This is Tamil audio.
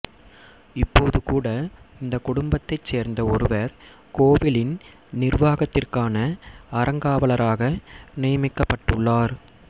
இப்போது கூட இந்த குடும்பத்தைச் சேர்ந்த ஒருவர் கோவிலின் நிர்வாகத்திற்கான அறங்காவலராக நியமிக்கப்பட்டுள்ளார்